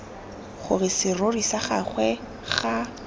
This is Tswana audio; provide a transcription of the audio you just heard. gore serori sa gagwe ga